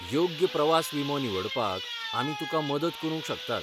योग्य प्रवास विमो निवडपाक आमी तुकां मदत करूंक शकतात.